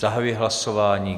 Zahajuji hlasování.